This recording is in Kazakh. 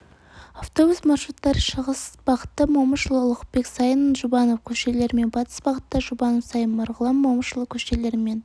автобус маршруттары шығыс бағытта момышұлы ұлықбек сайын жұбанов көшелерімен батыс бағытта жұбанов сайын марғұлан момышұлы көшелерімен